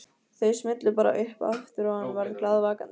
Þau smullu bara upp aftur hann var glaðvakandi.